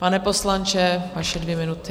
Pane poslanče, vaše dvě minuty.